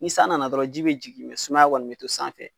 Ni san nana dɔrɔn ji bɛ jigin mɛ sumaya kɔni bɛ to san fɛ.